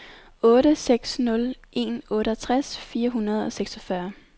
otte seks nul en otteogtres fire hundrede og seksogfyrre